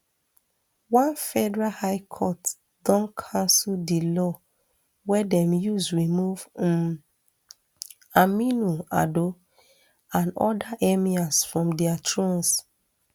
one federal high court don cancel di law wey dem use remove um aminu ado and oda emirs from dia thrones